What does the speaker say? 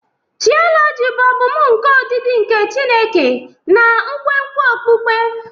Tioloji bụ ọmụmụ nke ọdịdị nke Chineke na nkwenkwe okpukpe.